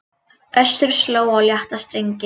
Össur sló á létta strengi